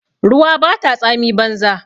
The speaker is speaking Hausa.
Ruwa bata tsami banza.